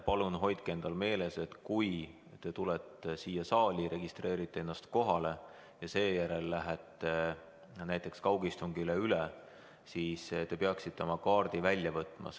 Palun hoidke endal meeles, et kui te tulete siia saali ja registreerite ennast kohale ja seejärel lähete kaugistungile üle, siis te peaksite oma kaardi välja võtma.